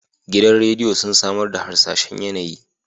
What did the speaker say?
Gidan rediyo sun samar da harsashen yAnayi